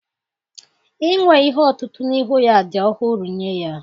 Inwe ihe otutu n'ihu ya dị ọhụrụ nye ya